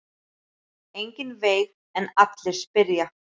Enginn veit en allir spyrja.